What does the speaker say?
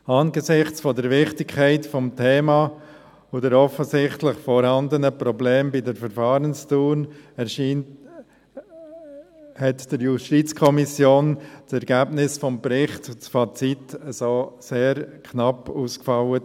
Angesichts der Wichtigkeit des Themas und der offensichtlich vorhandenen Probleme bei der Verfahrensdauer erscheint der JuKo das Ergebnis des Berichts und das Fazit sehr knapp ausgefallen.